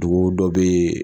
Dugu dɔ bɛ yen